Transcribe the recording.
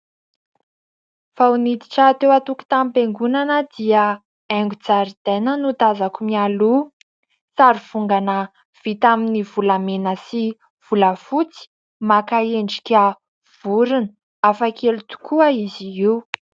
Vao niditra teo antokotanim-piangonana dia aingon-jaridaina no tazako mialoha sarivongana vita amin'ny volamena sy volafotsy maka endrika vorona hafakely tokoa izy io